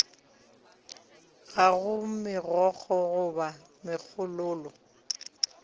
ga go megokgo goba megololo